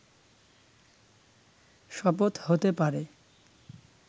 শপথ হতে পারে